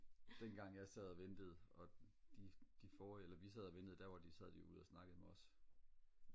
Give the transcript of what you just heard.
dengang jeg sad og ventede og de de forrrige eller vi sad og ventede der var de jo der sad de jo ude og snakkede med os